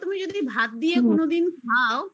তুমি যদি ভাত দিয়ে কোনোদিন খাও